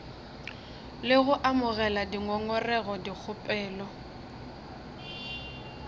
le go amogela dingongorego dikgopelo